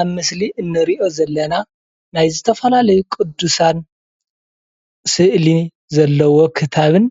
ኣብ ምስሊ እንሪኦ ዘለና ናይ ዝተፈላለዩ ቁዱሳን ስእሊ ዘለዎ ክታብን